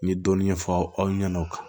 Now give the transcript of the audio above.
N ye dɔɔnin fɔ aw ɲɛna